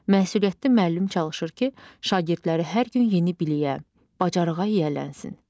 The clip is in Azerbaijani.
Məsuliyyətli müəllim çalışır ki, şagirdləri hər gün yeni biliyə, bacarığa yiyələnsin.